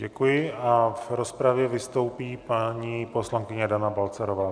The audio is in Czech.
Děkuji a v rozpravě vystoupí paní poslankyně Dana Balcarová.